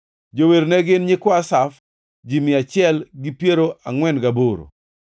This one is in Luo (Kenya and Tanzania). Jower ne gin: nyikwa Asaf, ji mia achiel gi piero angʼwen gaboro (148).